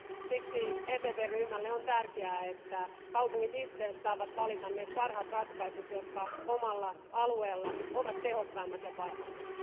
Siksi EPP ryhmälle on tärkeää, että kaupungit itse saavat valita ne parhaat ratkaisut, jotka omalla alueella ovat tehokkaimmat ja parhaimmat.